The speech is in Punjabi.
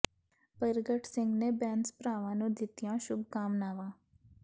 ਪਰਗਟ ਸਿੰਘ ਨੇ ਬੈਂਸ ਭਰਾਵਾਂ ਨੂੰ ਦਿੱਤੀਆਂ ਸ਼ੁਭ ਕਾਮਨਾਵਾਂ